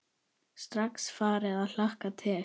Strax farin að hlakka til.